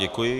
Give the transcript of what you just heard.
Děkuji.